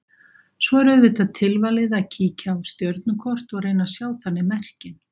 Svo er auðvitað tilvalið að kíkja á stjörnukort og reyna að sjá þannig merkin.